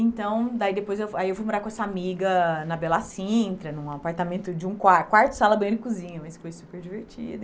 Então, daí depois eu aí eu fui morar com essa amiga na Bela Cintra, num apartamento de um quar quarto, sala, banheiro e cozinha, mas foi super divertido.